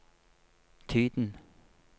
tiden